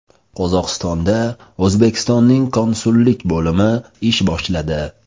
Qozog‘istonda O‘zbekistonning konsullik bo‘limi ish boshladi.